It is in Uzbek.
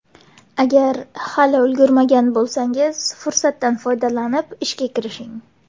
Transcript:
Agar hali ulgurmagan bo‘lsangiz, fursatdan foydalanib, ishga kirishing.